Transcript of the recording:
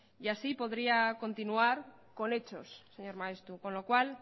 y así podría continuar con hechos señor maeztu con lo cual